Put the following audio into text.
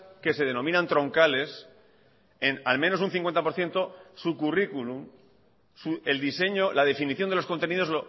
que se denominan troncales en al menos un cincuenta por ciento su curriculum el diseño la definición de los contenidos